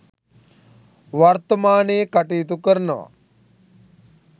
වර්ථමානයේ කටයුතු කරනවා